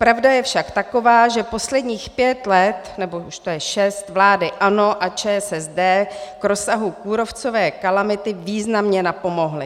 Pravda je však taková, že posledních pět let, nebo už to je šest, vlády ANO a ČSSD k rozsahu kůrovcové kalamity významně napomohlo.